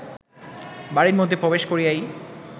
বাড়ীর মধ্যে প্রবেশ করিয়াই